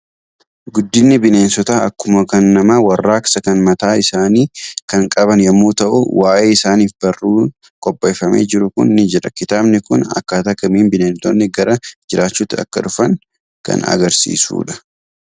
Guddinni bineensotaa akkuma kan namaa warraaqsa kan mataa isaanii kan qaban yommuu ta'u, waa'ee isaaniitif barruun qopheeffamee jiru kun ni jira. Kitaabni kun akkaataa kamiin bineeldonni gara jiraachuutti akka dhufan kan agarsiisudha.